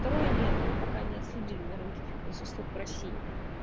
второе нет мы пока не отследили на рынке фитнес услуг в россии